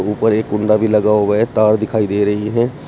ऊपर एक कुंडा भी लगा हुआ हैं तार दिखाई दे रही है।